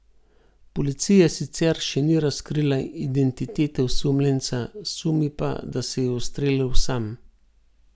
Policija sicer še ni razkrila identitete osumljenca, sumi pa, da se je ustrelil sam.